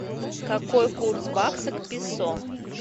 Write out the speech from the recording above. какой курс бакса к песо